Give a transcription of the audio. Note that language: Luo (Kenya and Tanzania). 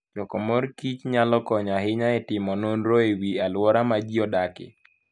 Choko mor kich nyalo konyo ahinya e timo nonro e wi alwora ma ji odakie.